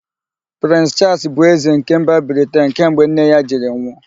Prịns Chaals bụzi ézē nke mba Briten kemgbe nne ya jiri nwụ.